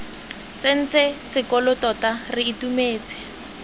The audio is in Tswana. tsentse sekolo tota re itumetse